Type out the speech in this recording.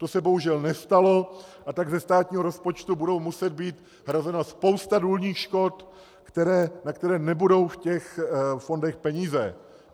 To se bohužel nestalo, a tak ze státního rozpočtu bude muset být hrazena spousta důlních škod, na které nebudou v těch fondech peníze.